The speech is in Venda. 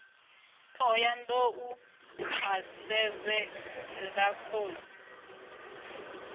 thohoyanḓ ou a sevhela khosi